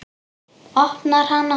Opnar hana.